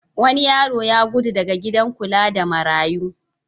Wani yaro ya gudu daga gidan kula da marayu.